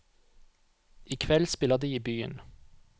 I kveld spiller de i byen.